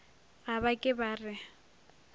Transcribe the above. ga ba ke ba re